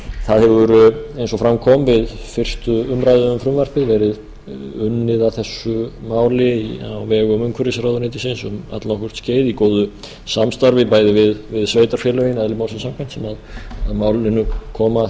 það hefur eins og fram kom við fyrstu umræðu um frumvarpið verið unnið að þessu máli á vegum umhverfisráðuneytisins um allnokkurt skeið í góðu samstarfi bæði við sveitarfélögin eðli málsins samkvæmt sem að málinu koma